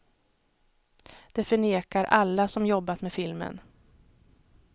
Det förnekar alla som jobbat med filmen.